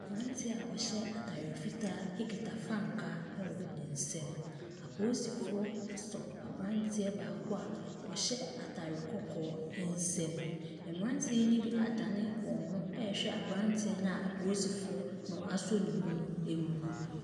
Branteɛ a ɔhy3 ataare fitaa ekita frankaa ɛwɔ ne nsam. Aposifoɔ asɔ abranteɛ baako a ɔhyɛ ataare kɔkɔɔ ɛnsam. Mmranteɛ ne bi adane wɔn ho ɛhwɛ abranteɛ na aposifoɔ asɔ ne emu no.